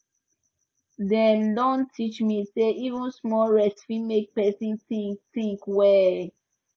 dem don teach me say even small rest fit make person think think well